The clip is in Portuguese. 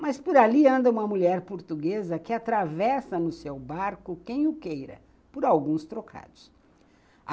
Mas por ali anda uma mulher portuguesa que atravessa no seu barco quem o queira, por alguns trocados.